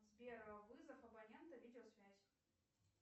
сбер вызов абонента видеосвязь